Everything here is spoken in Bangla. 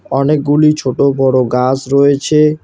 অনেকগুলি ছোট বড় গাস রয়েছে।